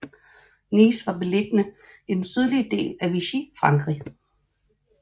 Nice var beliggende i den sydlige del af Vichy Frankrig